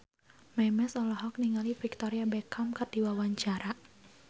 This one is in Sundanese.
Memes olohok ningali Victoria Beckham keur diwawancara